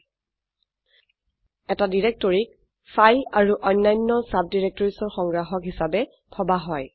এটি ডিৰেক্টৰকীক ফাইল আৰু অন্যান্য ডাইৰেক্টৰিজ ৰ সংগ্ৰাহক হিসাবে ভাবা হয়